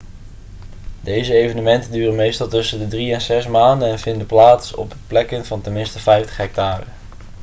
deze evenementen duren meestal tussen de drie en zes maanden en vinden plaats op plekken van ten minste 50 hectare